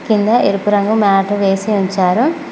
కింద ఎరుపు రంగు మ్యాటు వేసి ఉంచారు.